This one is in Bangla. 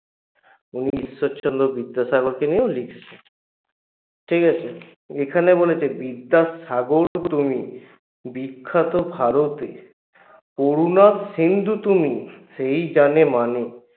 উনি ঈশ্বরচন্দ্র বিদ্যাসাগরকে নিয়েও লিখেছেন ঠিকাছে? এখানে বলেছে বিদ্যার সাগর তুমি বিখ্যাত ভারতে অরুনভ সিন্ধু তুমি সেই জানে মানে